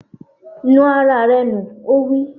Nu ara rẹ nù! Ó wí.